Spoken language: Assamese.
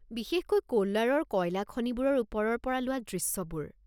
বিশেষকৈ কোলাৰৰ কয়লা খনিবোৰৰ ওপৰৰ পৰা লোৱা দৃশ্যবোৰ।